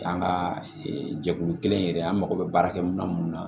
An ka jɛkulu kelen yɛrɛ an mago bɛ baara kɛ mina mun na